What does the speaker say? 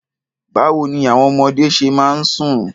Báwo ní àwọn ọmọdé ṣe máa ń sùn?